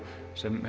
sem